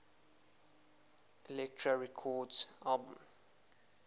elektra records albums